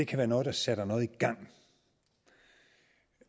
kan være noget der sætter noget i gang